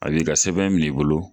A b'i ka sɛbɛn minɛ i bolo.